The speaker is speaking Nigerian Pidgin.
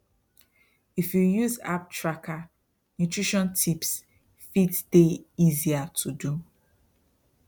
if you use app tracker nutrition tips fit there easier to do